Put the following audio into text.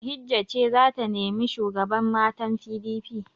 Bahijja ce za ta nemi shugaban matan PDP.